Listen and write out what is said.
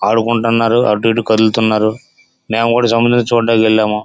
ఆడుకుంటున్నారు అటు ఇటు కదులుతున్నారు మేము కూడా సముద్రము చుడానికి వెళ్ళాము.